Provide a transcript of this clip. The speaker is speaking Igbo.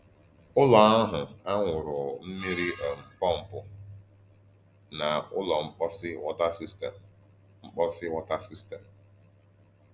Ụ́lọ̀ ahụ ànwụ̀rù mmìrì um pọ́mpù na Ụ́lọ̀ Mposì wọ̀tà sístèm. Mposì wọ̀tà sístèm.